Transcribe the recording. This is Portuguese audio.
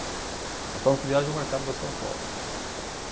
Nós estávamos com viagem marcado para São Paulo.